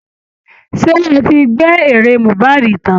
Ṣé ẹ ti gbẹ́ eré mohbad tán?